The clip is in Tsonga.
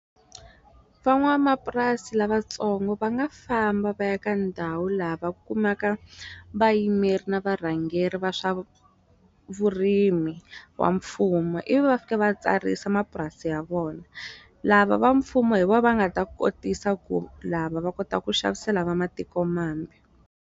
Van'wamapurasi lavatsongo va nga famba va ya ka ndhawu laha va kumaka vayimeri na varhangeri va swa vurimi wa mfumo ivi va fika va tsarisa mapurasi ya vona lava va mfumo hi vo va nga ta kotisa ku lava va kota ku xavisela va matiko mambe.